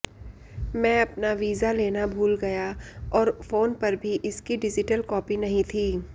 मैं अपना वीजा लेना भूल गया और फोन पर भी इसकी डिजिटल कॉपी नहीं थी